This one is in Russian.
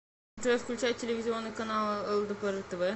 джой включай телевизионный канал лдпр тв